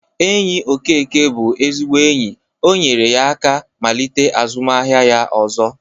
Enyi Okeke bụ ezigbo enyi. O nyere ya aka malite azụmaahịa ya ọzọ.